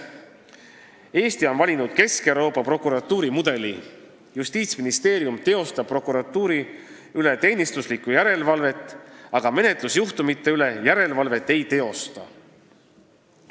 Eesti on valinud Kesk-Euroopa prokuratuurimudeli: Justiitsministeerium teostab teenistuslikku järelevalvet prokuratuuri üle, aga ei teosta järelevalvet menetlusjuhtumite üle.